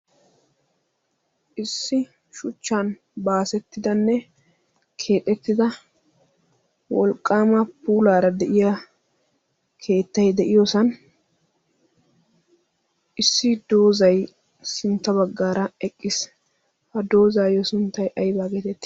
issi shuchchan baasettidanne keexettida wolqqaama puulaara de7iya keettai de7iyoosan issi doozai sintta baggaara eqqiis. ha doozaayyo sinttai aibaa geetti?